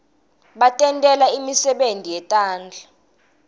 batentela nemisebenti yetandla